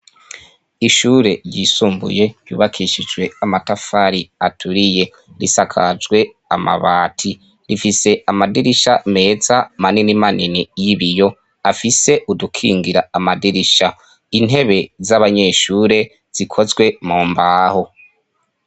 Ishure ryisumbuye yubakishijwe amatafari aturiye, risakajwe amabati, rifise amadirisha meza manini manini y’ibiyo afise udukingira amadirisha, intebe z’abanyeshure zikozwe mu mbaho.